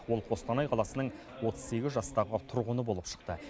ол қостанай қаласының отыз сегіз жастағы тұрғыны болып шықты